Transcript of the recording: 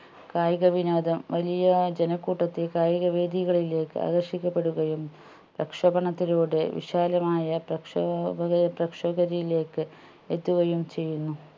കായിക വിനോദം വലിയ ജനക്കൂട്ടത്തെ കായിക വേദികളിലേക്ക് ആകർഷിക്കപ്പെടുകയും പ്രക്ഷോപണത്തിലൂടെ വിശാലമായ പ്രക്ഷോപകരെ പ്രക്ഷോഗതിയിലേക്ക് എത്തുകയും ചെയ്യുന്നു